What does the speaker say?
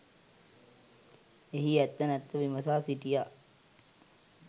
එහි ඇත්ත නැත්ත විමසා සිටියා.